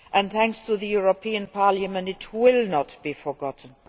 Thanks to the European Parliament, it will not be forgotten.